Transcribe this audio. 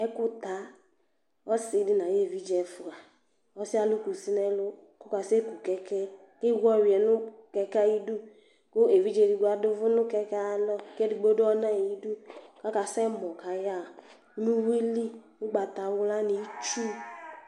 Ɛkuta, ɔsi di n'ay'evidze ɛfua, ɔsiɛ alu kusi n'ɛlu k'ɔkase ku kɛkɛ k'ewu ɔyuɛ nu kɛkɛ ayi du ku evidze edigbo adu uvu nu kɛkɛ'alɔ, k'edigbo du ɔna'yi du k'aka sɛ mɔ k'aya ɣa n'u uwili ugbata wla ni, itsu